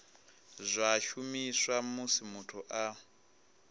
zwa shumiswa musi muthu a